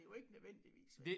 Jo ikke nødvendigvis vel